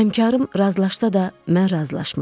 Həmkarım razılaşsa da, mən razılaşmadım.